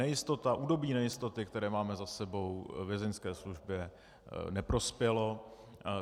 Nejistota, období nejistoty, které máme za sebou, Vězeňské službě neprospělo.